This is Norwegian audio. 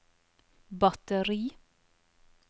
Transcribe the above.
batteri